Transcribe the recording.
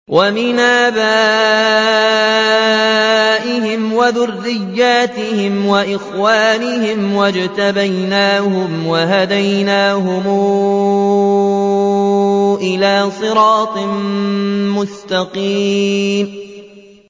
وَمِنْ آبَائِهِمْ وَذُرِّيَّاتِهِمْ وَإِخْوَانِهِمْ ۖ وَاجْتَبَيْنَاهُمْ وَهَدَيْنَاهُمْ إِلَىٰ صِرَاطٍ مُّسْتَقِيمٍ